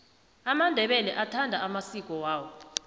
amandebele athanda amasiki awo